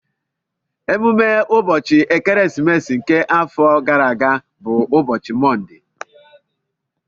Emume ụbọchị ekeresimesi nke afọ gara aga bụ ụbọchị Mọnde